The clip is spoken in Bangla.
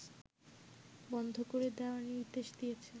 বন্ধ করে দেয়ার নির্দেশ দিয়েছে